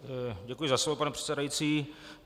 Děkuji za slovo, pane předsedající.